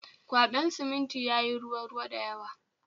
Kwaben simintin yayi ruwa ruwa da yawa